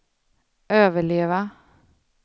överleva